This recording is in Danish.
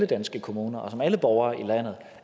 danske kommuner og som alle borgere i landet